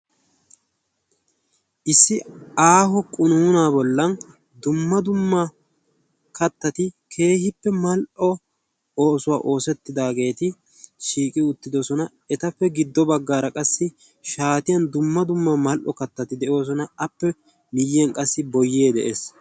issi aaho qunuuna bollan dumma dumma kattati keehippe mal77o oosuwaa oosettidaageeti shiiqi uttidosona. etappe giddo baggaara qassi shaatiyan dumma dumma mal77o kattati de7oosona. appe miyyiyan qassi boyee de7ees.